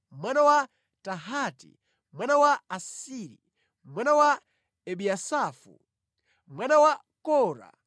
mwana wa Tahati, mwana wa Asiri, mwana wa Ebiyasafu, mwana wa Kora,